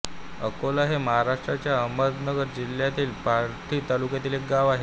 आकोला हे महाराष्ट्राच्या अहमदनगर जिल्ह्यातील पाथर्डी तालुक्यात एक गाव आहे